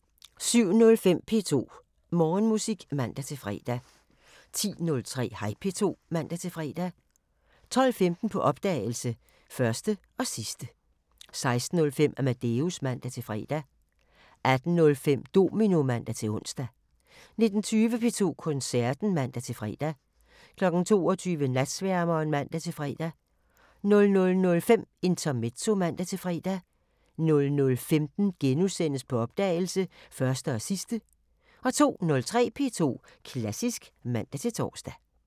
07:05: P2 Morgenmusik (man-fre) 10:03: Hej P2 (man-fre) 12:15: På opdagelse – Første og sidste 16:05: Amadeus (man-fre) 18:05: Domino (man-ons) 19:20: P2 Koncerten (man-fre) 22:00: Natsværmeren (man-fre) 00:05: Intermezzo (man-fre) 00:15: På opdagelse – Første og sidste * 02:03: P2 Klassisk (man-tor)